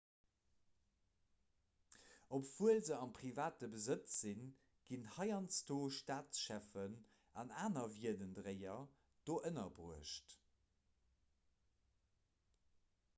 obwuel se a privatem besëtz sinn ginn heiansdo staatscheffen an aner wierdendréier do ënnerbruecht